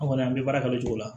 Anw kɔni an bɛ baara kɛ o cogo la